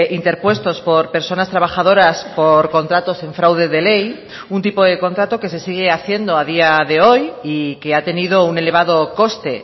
interpuestos por personas trabajadoras por contratos en fraude de ley un tipo de contrato que se sigue haciendo a día de hoy y que ha tenido un elevado coste